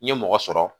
N ye mɔgɔ sɔrɔ